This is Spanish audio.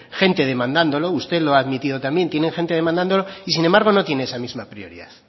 gente demandándolo usted lo ha admitido también tiene gente demandándolo y sin embargo no tiene esa misma prioridad